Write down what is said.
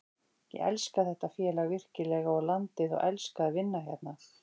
Ég elska þetta félag virkilega og landið og elska að vinna hérna.